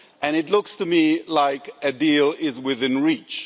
It looks to me like a deal is within reach.